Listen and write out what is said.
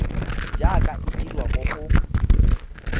jaaka e dirwa mo go